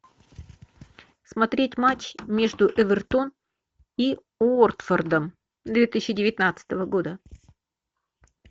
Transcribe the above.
смотреть матч между эвертон и уотфордом две тысячи девятнадцатого года